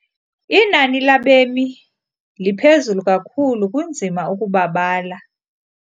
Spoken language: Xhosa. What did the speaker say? Inani labemi liphezulu kakhulu kunzima ukubabala.